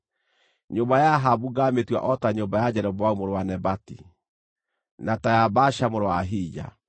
Nyũmba ya Ahabu ngaamĩtua o ta nyũmba ya Jeroboamu mũrũ wa Nebati, na ta ya Baasha mũrũ wa Ahija.